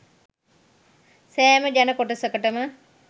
සෑම ජන කොටසකටම